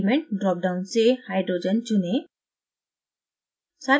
element drop down से hydrogen चुनें